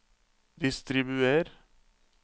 distribuer